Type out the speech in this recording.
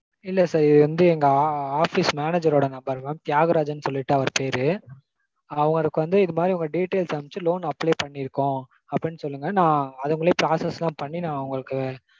இல்ல sir இது வந்து எங்க ஆ office manager ஓட number mam தியாகராஜன்னு சொல்லிட்டு அவர் பேரு. அவர்க்கு வந்து இதுமாதிரி உங்க details அனுப்ச்சு loan apply பண்ணிருக்கோம் அப்படீன்னு சொல்லுங்க. நா அதுக்குள்ளயே process லாம் பண்ணி நா உங்களுக்கு